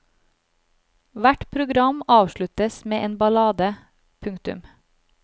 Hvert program avsluttes med en ballade. punktum